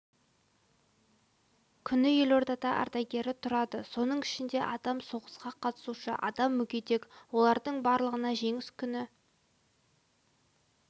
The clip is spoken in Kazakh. күні елордада ардагері тұрады соның ішінде адам соғысқа қатысушы адам мүгедек олардың барлығына жеңіс күні